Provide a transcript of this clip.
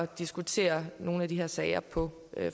diskutere nogle af de her sager på